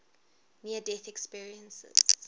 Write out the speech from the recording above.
near death experiences